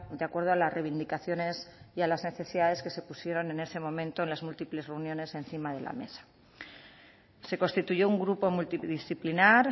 de acuerdo a las reivindicaciones y a las necesidades que se pusieron en ese momento en las múltiples reuniones encima de la mesa se constituyó un grupo multidisciplinar